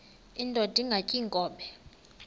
indod ingaty iinkobe